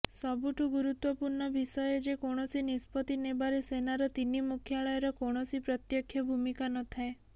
ସବୁଠୁ ଗୁରୁତ୍ବପୂର୍ଣ୍ଣ ବିଷୟ ଯେ କୌଣସି ନିଷ୍ପତ୍ତି ନେବାରେ ସେନାର ତିନି ମୁଖ୍ୟାଳୟର କୌଣସି ପ୍ରତ୍ୟକ୍ଷ ଭୂମିକା ନଥାଏ